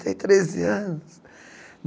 Tenho treze anos.